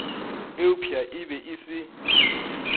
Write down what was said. eupša e be e se